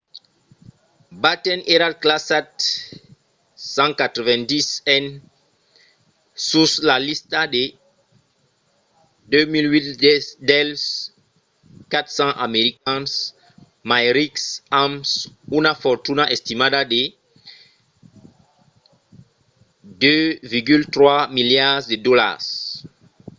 batten èra classat 190n sus la lista de 2008 dels 400 americans mai rics amb una fortuna estimada de 2,3 miliards de dolars